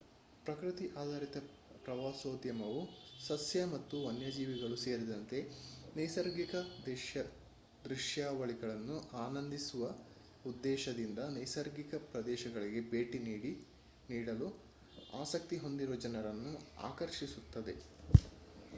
ಪ್ರಕೃತಿ ಆಧಾರಿತ ಪ್ರವಾಸೋದ್ಯಮವು ಸಸ್ಯ ಮತ್ತು ವನ್ಯಜೀವಿಗಳು ಸೇರಿದಂತೆ ನೈಸರ್ಗಿಕ ದೃಶ್ಯಾವಳಿಗಳನ್ನು ಆನಂದಿಸುವ ಉದ್ದೇಶದಿಂದ ನೈಸರ್ಗಿಕ ಪ್ರದೇಶಗಳಿಗೆ ಭೇಟಿ ನೀಡಲು ಆಸಕ್ತಿ ಹೊಂದಿರುವ ಜನರನ್ನು ಆಕರ್ಷಿಸುತ್ತದೆ